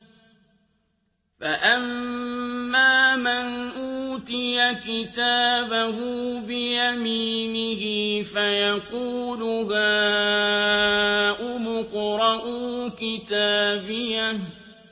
فَأَمَّا مَنْ أُوتِيَ كِتَابَهُ بِيَمِينِهِ فَيَقُولُ هَاؤُمُ اقْرَءُوا كِتَابِيَهْ